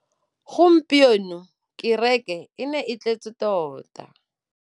Gompieno kêrêkê e ne e tletse tota.